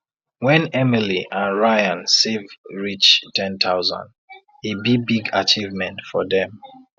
when emily and ryan save reach 10000 e be big achievement for them